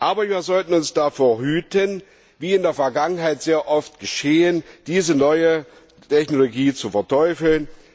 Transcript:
Aber wir sollten uns davor hüten wie in der Vergangenheit sehr oft geschehen diese neue Technologie zu verteufeln.